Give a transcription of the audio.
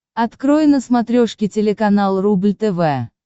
открой на смотрешке телеканал рубль тв